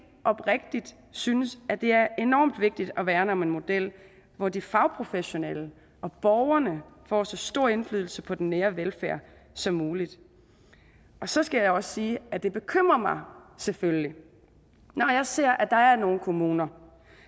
oprigtigt synes at det er enormt vigtigt at værne om en model hvor de fagprofessionelle og borgerne får så stor indflydelse på den nære velfærd som muligt så skal jeg også sige at det bekymrer mig selvfølgelig når jeg ser at der er nogle kommuner